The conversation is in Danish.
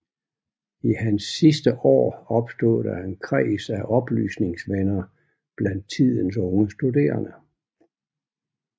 I hans sidste år opstod der en kreds af oplysningsvenner blandt tidens unge studerende